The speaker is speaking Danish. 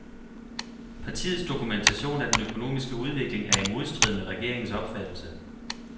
Partiets dokumentation af den økonomiske udvikling er i modstrid med regeringens opfattelse.